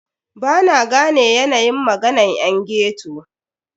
Bana gane yanayin maganan yan ghetto.